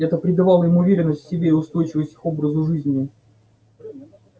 это придавало им уверенность в себе и устойчивость их образу жизни